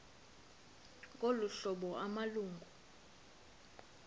ngolu hlobo amalungu